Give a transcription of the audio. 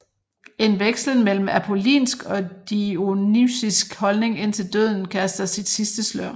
En vekslen mellem apollinsk og dionysisk holdning indtil døden kaster sit sidste slør